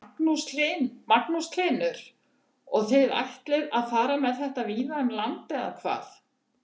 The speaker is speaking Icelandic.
Magnús Hlynur: Og þið ætlið að fara með þetta víða um land eða hvað?